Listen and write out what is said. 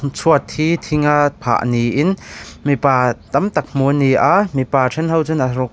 chhuat hi thing a phah niin mipa tam tak hmuh a ni a mipa then ho chuan.